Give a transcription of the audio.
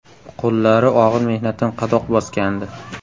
Qo‘llari og‘ir mehnatdan qadoq bosgandi.